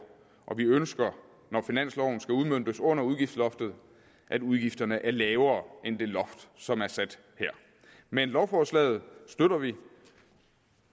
og vi ønsker når finansloven skal udmøntes under udgiftsloftet at udgifterne bliver lavere end det loft som er sat her men lovforslaget støtter vi